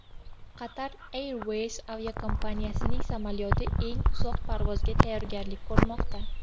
Qatar Airways aviakompaniyasining samolyoti eng uzoq parvozga tayyorgarlik ko‘rmoqda.